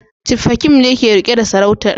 Chief Hakeem ne ke rike da sarautar